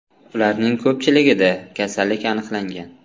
Ularning ko‘pchiligida kasallik aniqlangan.